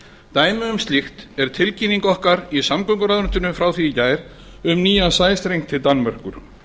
dæmi um slíkt er tilkynning okkar í samgönguráðuneytinu frá því í gær um nýjan sæstreng til danmerkur